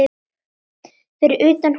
Fyrir utan húsið beið